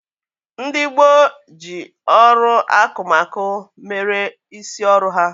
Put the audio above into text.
Ndị gboo ji ọrụ akụmakụ mere isi ọrụ ha.